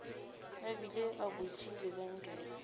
a bile a butše lebenkele